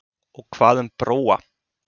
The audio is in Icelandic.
Og hvað um Bróa?